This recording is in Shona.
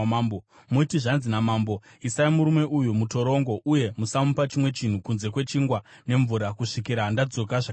Muti, ‘Zvanzi namambo: Isai murume uyu mutorongo uye musamupa chimwe chinhu kunze kwechingwa nemvura kusvikira ndadzoka zvakanaka.’ ”